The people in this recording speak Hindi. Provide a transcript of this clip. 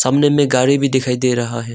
सामने में गाड़ी भी दिखाई दे रहा है।